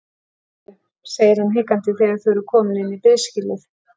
Heyrðu, segir hann hikandi þegar þau eru komin inn í biðskýlið.